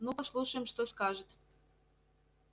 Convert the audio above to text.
ну послушаем что скажет